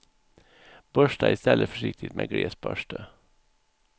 Borsta i stället försiktigt med gles borste.